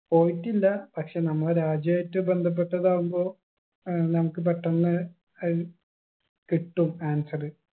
പോയിട്ടില്ല പക്ഷെ നമ്മളെ രാജ്യായിട്ട് ബന്ധപ്പെട്ടതാവുമ്പൊ ഏർ നമുക്ക് പെട്ടെന്ന് ഏർ കിട്ടും answer